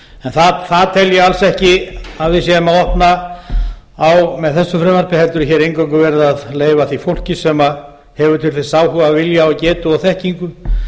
það tel ég alls ekki að við séum að opna á með þessu frumvarpi heldur er hér eingöngu verið að leyfa því fólk sem hefur til þess áhuga vilja getu þekkingu